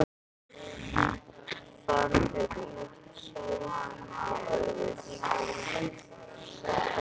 Farðu út, sagði hann í örvæntingu.